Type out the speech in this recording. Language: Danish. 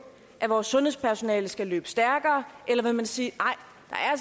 at vores sundhedspersonale skal løbe stærkere eller vil man sige